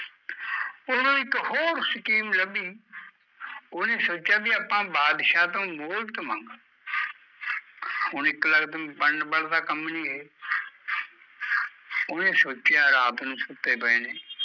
ਉਦੋਂ ਇੱਕ ਹੋਰ scheme ਲੱਭੀ ਓਹਨੇ ਸੋਚਿਆ ਵੀ ਆਪਾਂ ਬਾਦਸ਼ਾਹ ਤੋਂ ਮੋਹਲਤ ਮੰਗ ਹੁਣ ਇੱਕ ਲਕਤ ਬਣਨ ਵਾਲਾ ਤਾਂ ਕੰਮ ਨੀ ਇਹ ਓਹਨੇ ਸੋਚਿਆ ਰਾਤ ਨੂ ਸੁੱਤੇ ਪਏ ਨੇ